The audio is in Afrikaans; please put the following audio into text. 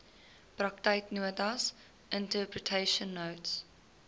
praktyknotas interpretation notes